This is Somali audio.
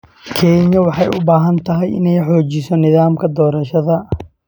Kenya waxay u baahan tahay inay xoojiso nidaamka doorashada.